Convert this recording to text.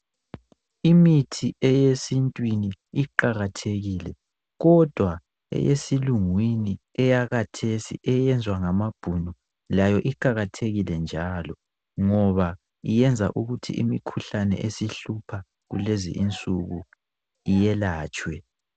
Imithi eyesintwini iqakathekile kodwa eyesilungwini eyakhathesi eyenzwa ngamabhunu layo iqakathekile njalo ngoba iyenza ukuthi imikhuhlane esihlupha kulezinsuku iyelatshwe.